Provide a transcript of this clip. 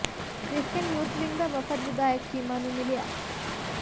ਕਿ੍ਸਚੀਅਨ youth wing ਦਾ ਵਫ਼ਦ ਵਿਧਾਇਕ ਚੀਮਾ ਨੂੰ ਮਿਲਿਆ